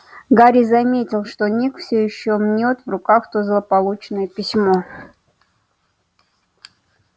гарри заметил что ник всё ещё мнёт в руках то злополучное письмо